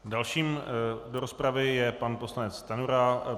Dalším do rozpravy je pan poslanec Stanjura.